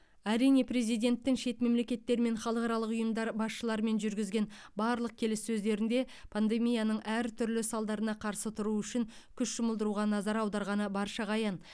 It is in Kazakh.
әрине президенттің шет мемлекеттер мен халықаралық ұйымдар басшыларымен жүргізген барлық келіссөздерінде пандемияның әртүрлі салдарына қарсы тұру үшін күш жұмылдыруға назар аударғаны баршаға аян